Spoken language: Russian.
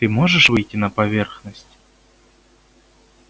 ты можешь выйти на поверхность